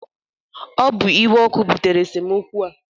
Ọ bụ iwe ọkụ butere esemokwu a